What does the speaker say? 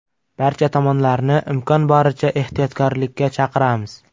Barcha tomonlarni imkon boricha ehtiyotkorlikka chaqiramiz.